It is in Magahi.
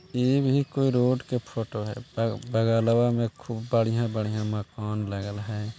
ये भी कोई रोड की फोटो है | ब बगलवा में खूब बढ़िया-बढ़िया मकान लागल है।